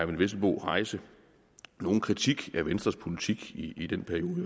vesselbo rejse nogen kritik af venstres politik i den periode